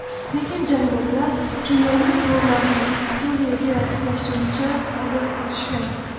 Lekin jangarilar kimyoviy qurollarni Suriyaga yashirincha olib o‘tishgan.